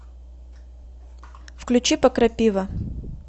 включи покрапива